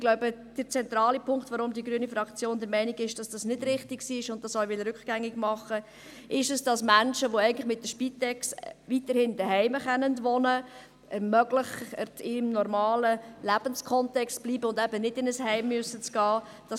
Ich glaube, der zentrale Punkt, weshalb die grüne Fraktion der Meinung ist, dies sei nicht richtig gewesen und weshalb sie das rückgängig machen will, ist, dass Menschen, die eigentlich mithilfe der Spitex weiterhin zu Hause wohnen können, weiterhin die Möglichkeit haben sollen, in ihrem normalen Lebenskontext zu bleiben und eben nicht in ein Heim eintreten zu müssen.